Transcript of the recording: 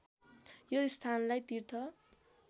यो स्थानलाई तीर्थ